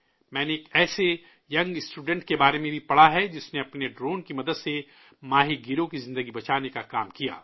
میں نے ایک ایسے نوجوان اسٹوڈنٹ کے بارے میں بھی پڑھا ہے جس نے اپنے ڈرون کی مدد سے ماہی گیروں کی زندگی بچانے کا کام کیا